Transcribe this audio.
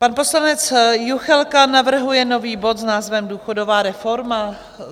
Pan poslanec Juchelka navrhuje nový bod s názvem Důchodová reforma.